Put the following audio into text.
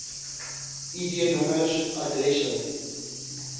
id nommers adresse